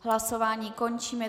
Hlasování končím.